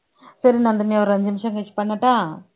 சரி நந்தினி ஒரு அஞ்சு நிமிஷம் கழிச்சு பண்ணட்டா